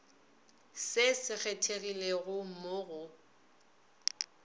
se se kgethegilego mo go